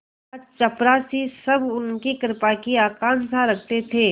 चपरासीसब उनकी कृपा की आकांक्षा रखते थे